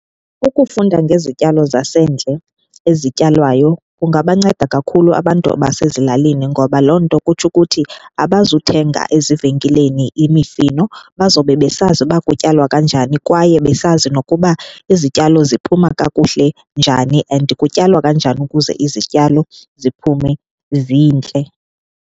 Ukufunda ngezityalo zasendle ezityalwayo kungabanceda kakhulu abantu basezilalini ngoba loo nto kutsho ukuthi abazuthenga ezivenkileni imifino bazobe besazi uba kutyalwa kanjani kwaye besazi nokuba izityalo ziphuma kakuhle njani and kutyalwa kanjani ukuze izityalo ziphume zintle.